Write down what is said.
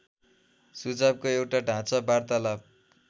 सुझावको एउटा ढाँचा वार्तालाप